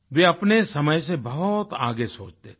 वे अपने समय से बहुत आगे सोचते थे